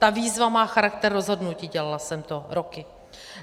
Ta výzva má charakter rozhodnutí, dělala jsem to roky.